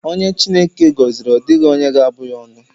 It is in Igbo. Onye Chineke gọziri, ọ dịghị onye ga-abụ ya ọnụ.